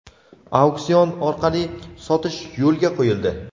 auksion orqali sotish yo‘lga qo‘yildi.